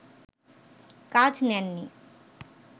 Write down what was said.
কাজ নেননি